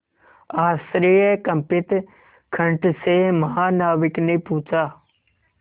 आश्चर्यकंपित कंठ से महानाविक ने पूछा